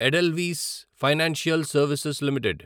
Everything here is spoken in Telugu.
Edelweiss financial services limited